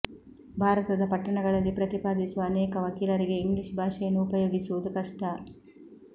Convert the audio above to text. ಭಾರತದ ಪಟ್ಟಣಗಳಲ್ಲಿ ಪ್ರತಿಪಾದಿಸುವ ಅನೇಕ ವಕೀಲರಿಗೆ ಇಂಗ್ಲಿಷ್ ಭಾಷೆಯನ್ನು ಉಪಯೋಗಿಸುವುದು ಕಷ್ಟ